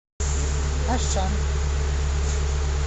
ашан